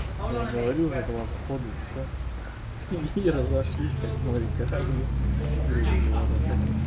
я говорю за два захода и всё и и разошлись как в море корабли грубо говорят так